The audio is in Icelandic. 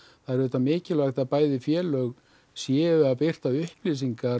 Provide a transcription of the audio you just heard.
það er auðvitað mikilvægt að bæði félög séu að birta upplýsingar